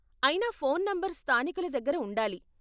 అయిన phone number స్థానికుల దగ్గర ఉండాలి.